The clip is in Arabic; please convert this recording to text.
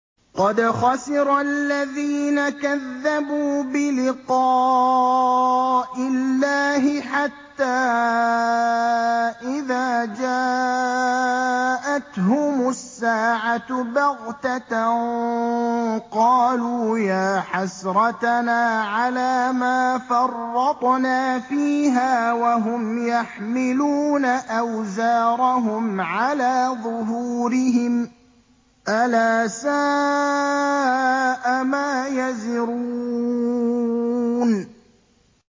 قَدْ خَسِرَ الَّذِينَ كَذَّبُوا بِلِقَاءِ اللَّهِ ۖ حَتَّىٰ إِذَا جَاءَتْهُمُ السَّاعَةُ بَغْتَةً قَالُوا يَا حَسْرَتَنَا عَلَىٰ مَا فَرَّطْنَا فِيهَا وَهُمْ يَحْمِلُونَ أَوْزَارَهُمْ عَلَىٰ ظُهُورِهِمْ ۚ أَلَا سَاءَ مَا يَزِرُونَ